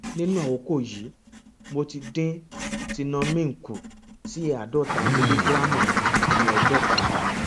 nínú àkókò yìí mo ti dín tenormin kù sí àádọta mílígíráàmù ní ọjọ kan